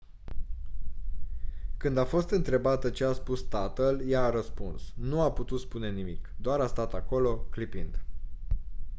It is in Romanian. când a fost întrebată ce a spus tatăl ea a răspuns «nu a putut spune nimic - doar a stat acolo clipind».